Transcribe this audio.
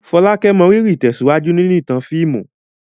Folake mọrírì ìtẹ̀síwájú nínú ìtàn fíìmù.